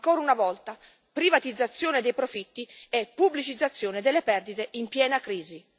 Ancora una volta, privatizzazione dei profitti e pubblicizzazione delle perdite in piena crisi.